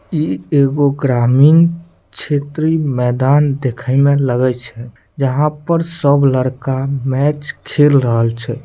ई एगो ग्रामीण क्षेत्रिय मैदान दिखे में लगई छै जहाँ पर सब लड़का मैच खेल रहल छै।